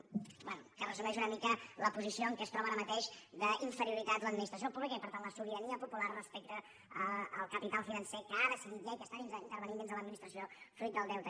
bé que resumeix una mica la posició en què es troba ara mateix d’inferioritat l’administració pública i per tant la sobirania popular respecte al capital financer que ha decidit ja i que està intervenint dins de l’administració fruit del deute